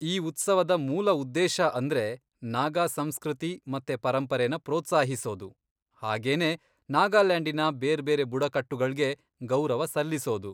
ಈ ಉತ್ಸವದ ಮೂಲ ಉದ್ದೇಶ ಅಂದ್ರೆ ನಾಗಾ ಸಂಸ್ಕೃತಿ ಮತ್ತೆ ಪರಂಪರೆನ ಪ್ರೋತ್ಸಾಹಿಸೋದು ಹಾಗೇನೇ ನಾಗಾಲ್ಯಾಂಡಿನ ಬೇರ್ಬೇರೆ ಬುಡಕಟ್ಟುಗಳ್ಗೆ ಗೌರವ ಸಲ್ಲಿಸೋದು.